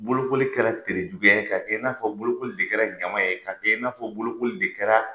Bolokoli tere juguya ye k'a kɛ n'afɔ bolokoli de kɛra ɲama ye, k'a kɛ i n'afɔ bolokoli de kɛra